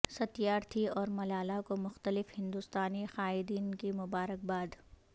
ستیار تھی اور ملالہ کو مختلف ہندوستانی قائدین کی مبارکباد